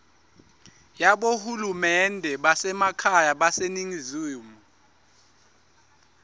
yabohulumende basekhaya baseningizimu